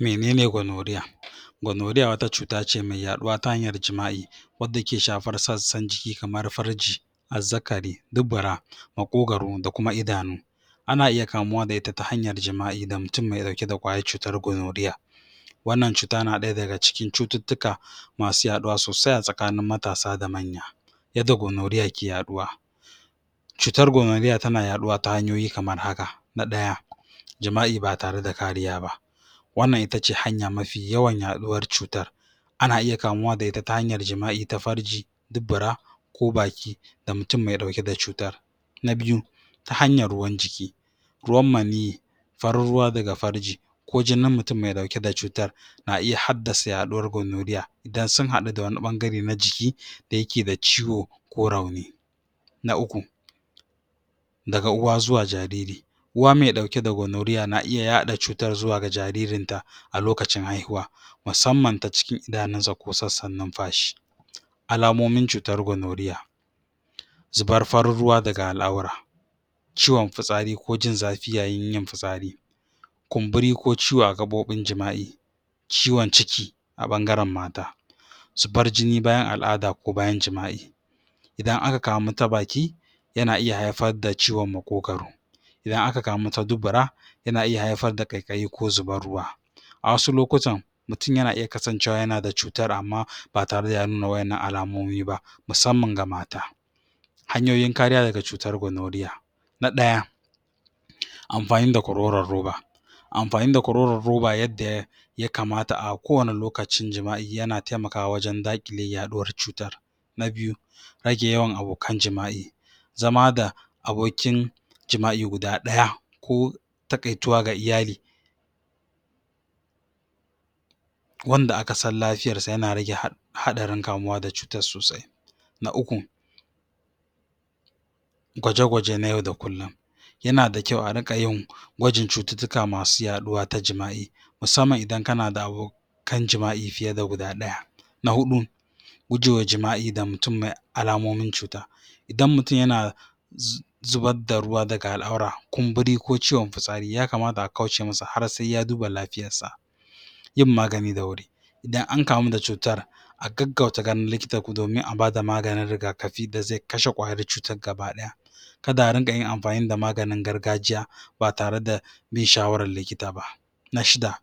menene gwanoriya gwanoriya wata cutace da take ya ɗuwa ta hanyar jima'i wadda ke shafar sassan jiki kamar farji azzarari dubura makogaru da kuma idanu ana iya kamuwa da ita ta hanyar jima'i da mutun me ɗauke da ƙwayar cutar gwanoriya wannan cuta na ɗaya daga cikin cututtuka masu yaɗuwa sosai a tsakanin matasa da manya yadda gwanoriya ke ya ɗuwa cutar gwanoriya tana ya ɗuwa ta hanyoyi kamar haka na farko jima'i ba tare da kariya ba wannan itace hanya mafi yawan ya ɗuwar cutar ana iya kamuwa da ita ta hanyar jima'i ta farji dubura ko baki da mutun me ɗauke da cutar na biyu ta hanyar ruwan jiki ruwan maniy farin ruwa daga farji ko jini mutun me ɗauke da cutar na iya haddasa ya ɗuwar gwanoriya idan sun haɗu da wani ɓangare na jiki da yake da ciwo ko rauni na uku daga uwa zuwa jariri uwa me ɗauke da gwanoriya na iya yaɗa cutar zuwa ga jajirinta a lokacin haihuwa musamman ta cikin idanunsa ko sassan nunfashi alamomin cutar gwanoriya zubar farin ruwa daga al'aura ciwan fitsari ko jin zafi yayin yin fitsari kumburi ko ciwo a gaɓobin jima'i ciwan ciki a bangaran mata zubar jini bayan al'ada ko bayan jima'i idan aka kamu ta baki yana iya haifar da ciwan maƙogaru idan aka kamu ta dubura yana iya haifar da ƙaiƙayi ko zubar ruwa a wasu lokutan mutun ya iya kasancewa yana da wannan cutar ba tare da ya nuna wa ƴannan alamomi ba musamman ga mata hanyoyin kariya daga cutar gwanoriya na ɗaya amfani da kwaroran ruba amfani da kwqroran ruba yadda ya kamata a ko wanne lokacin jima'i yana taimakawa wajan da ƙile ya ɗuwar cutar na biyu rage yawan abokan jima'i zama da abokin jima'i guda ɗaya ko taƙaituwa ga iyali wanda akasan lafiyarsa yana rage haɗarin kamuwa da cutar sosai na uku gwaje gwaje na yau da kullin yana da kyau ariƙa yin gwajin cututtuka masu ya ɗuwa ta jima'i musamman idan kana da abokan jima'i fiye da guda ɗaya gujewa jima'i da mutun me alamomin cuta idan mutun yana zubar da ruwa daga al'aura kumburi ko ciwan fitsari ya kamata a kauce masa har sai ya duba lafiyarsa yin magani da wuri idan ankamu da cutar a gaggauta ganin likita domin a bada maganin riga kafi da zai kashe ƙ ƙwayar cutar gabaɗaya kada a rinƙa yin amfani da maganin gargajiya ba tare bin shawarar likita ba na shida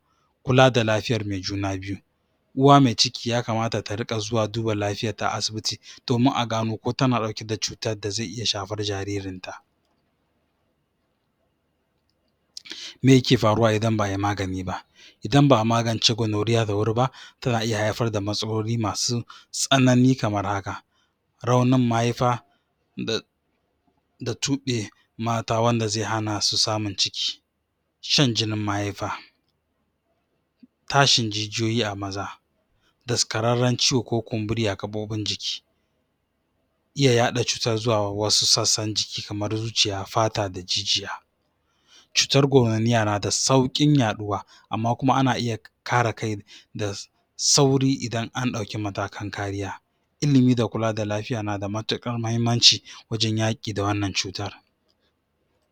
kula da lafiyar me juna biyu uwa mai ciki ya kamata ta riƙa zuwa duba lafiyar ta asibiti domin a gano ko tana ɗauke da cutar da zai iya shafar jaririnta me yake faruwa idan ba ayi magani ba idan ba a magance gwanoriya da wuri ba tana iya haifar da matsaloli masu tsanani kamar haka raunin mahaifa da tuɓa mata wanda zai hanasu samun ciki shan jini mahaifa tashin jijiyoyi a maza dakararran ciwo ko kumburi a gaɓoɓin jiki iya yaɗa cutar zuwa wasu sassan jiki kamar zuciya fata da jijiya cutar gwanoriya nada sauƙin yaɗuwa amma kuma ana iya kare kai da sauri idan anɗauke matakan kariya ilimi da kula da lafiya nada matuƙar mahimmanci wajan yaƙi da wannan cutar